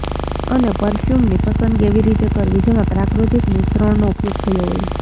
અને પરફયૂમની પસંદગી એવી રીતે કરવી જેમાં પ્રાકૃતિક મિશ્રણનો ઉપયોગ થયો હોય